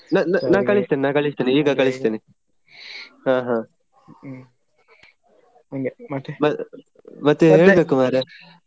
ನಾ~ ನಾ~ ನಾ ಕಳಿಸ್ತೇನೆ ನಾ ಕಳಿಸ್ತೇನೆ ಈಗ ಕಳಿಸ್ತೇನೆ ಮತ್ತೇ ಹೇಳ್ಬೇಕು ಮಾರ್ರೆ.